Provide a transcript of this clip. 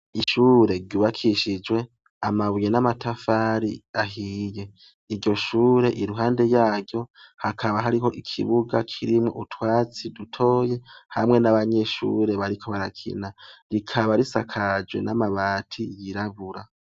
Ishure ry’ubakishijwe amabuye n’amatafari ahiye. Iryo shure iruhande yaryo hakaba hariho ikibuga kirimwo utwatsi dutoya hamwe n’abanyeshure bariko barakina. Rikaba risakajwe n’amabati yirabura.